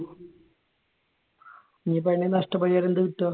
ഇനിയിപ്പോ അതിന്റെ നഷ്ടപരിഹാരം എന്താ കിട്ടുക?